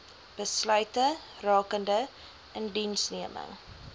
besluite rakende indiensneming